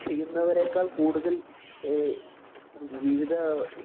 ചെയ്യുന്നവരേക്കാള്‍ കൂടുതല്‍ ജിവിതം